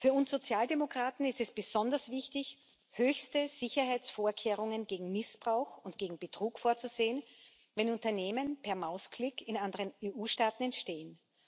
Für uns Sozialdemokraten ist es besonders wichtig, höchste Sicherheitsvorkehrungen gegen Missbrauch und gegen Betrug vorzusehen, wenn Unternehmen per Mausklick in anderen EU Staaten entstehen.